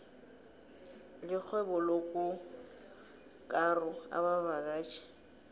lixhwebolokukaro abavakatjhi